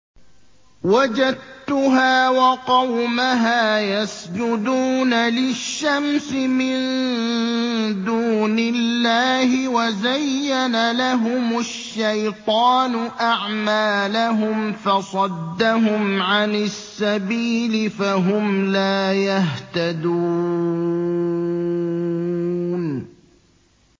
وَجَدتُّهَا وَقَوْمَهَا يَسْجُدُونَ لِلشَّمْسِ مِن دُونِ اللَّهِ وَزَيَّنَ لَهُمُ الشَّيْطَانُ أَعْمَالَهُمْ فَصَدَّهُمْ عَنِ السَّبِيلِ فَهُمْ لَا يَهْتَدُونَ